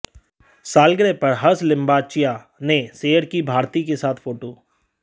सालगिरह पर हर्ष लिम्बाच्या ने शेयर की भारती के साथ फोटो